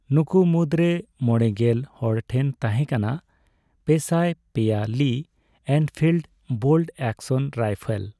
ᱱᱩᱠᱩ ᱢᱩᱫᱨᱮ ᱢᱚᱲᱮᱜᱮᱞ ᱦᱚᱲ ᱴᱷᱮᱱ ᱛᱟᱦᱮᱸ ᱠᱟᱱᱟ ᱯᱮᱥᱟᱭ ᱯᱮᱭᱟ ᱞᱤᱼᱮᱱᱯᱷᱤᱞᱰ ᱵᱳᱞᱴᱼᱮᱠᱥᱚᱱ ᱨᱟᱭᱯᱷᱮᱞ ᱾